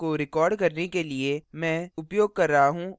इस tutorial को record करने के लिए मैं उपयोग कर रहा हूँ